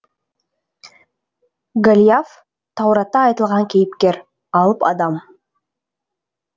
голиаф тауратта айтылған кейіпкер алып адам